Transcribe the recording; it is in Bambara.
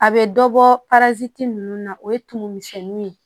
A bɛ dɔ bɔ ninnu na o ye tumu misɛnninw ye